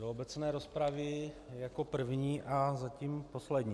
Do obecné rozpravy jako první a zatím poslední.